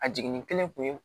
A jiginni kelen kun ye